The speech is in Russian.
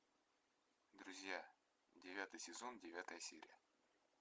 друзья девятый сезон девятая серия